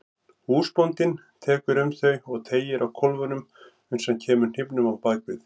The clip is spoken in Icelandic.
Húsbóndinn tekur um þau og teygir á kólfunum uns hann kemur hnífnum á bak við.